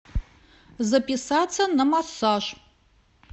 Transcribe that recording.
записаться на массаж